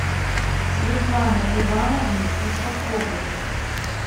светланы ивановны ушаковой